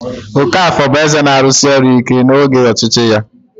Okafor bụ eze na-arụsi ọrụ ike n'oge ọchịchị ya.